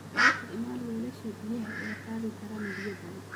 Isticmaal weelasha biyaha ee qaadi kara biyo badan.